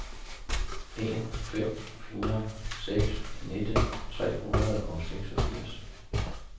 en fem fire seks nitten tre hundrede og seksogfirs